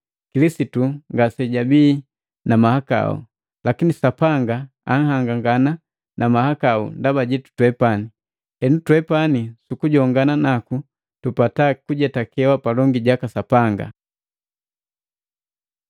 Kilisitu ngasejabii na mahakau, lakini Sapanga anhangangana na mahakau ndaba jitu twepani, henu twepani sukujongana naku, tupata kujetakeka palongi jaka Sapanga.